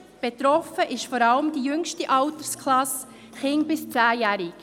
Betroffen ist vor allem die jüngste Altersklasse, Kinder bis 10 Jahren.